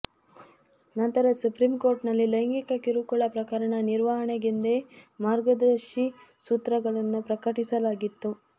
ನಂತರ ಸುಪ್ರೀಂಕೋರ್ಟ್ನಲ್ಲಿ ಲೈಂಗಿಕ ಕಿರುಕುಳ ಪ್ರಕರಣಗಳ ನಿರ್ವಹಣೆಗೆಂದೇ ಮಾರ್ಗದರ್ಶಿ ಸೂತ್ರಗಳನ್ನು ಪ್ರಕಟಿಸಲಾಗಿತ್ತು